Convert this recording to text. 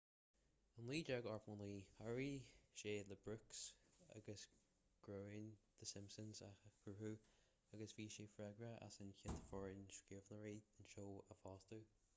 in 1989 chabhraigh sé le brooks agus groening the simpsons a chruthú agus bhí sé freagrach as an gcéad fhoireann scríbhneoireachta den seó a fhostú